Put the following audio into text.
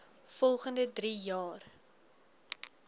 volgende drie jaar